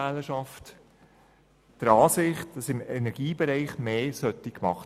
Gemäss Umfragen betrifft das auch die bürgerliche Wählerschaft.